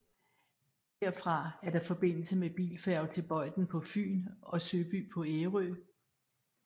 Herfra er der forbindelse med bilfærge til Bøjden på Fyn og Søby på Ærø